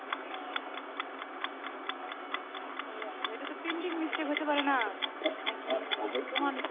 ওহ আচ্ছা এইটা তো printing হতে পারে না না কি তোমানিত হয়েছে এইটা